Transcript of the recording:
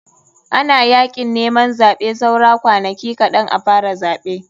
Ana yakin neman zaɓe saura kwanaki kaɗn a fara zaɓe.